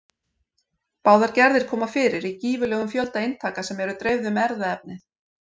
Báðar gerðir koma fyrir í gífurlegum fjölda eintaka sem eru dreifð um erfðaefnið.